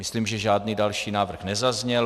Myslím, že žádný další návrh nezazněl.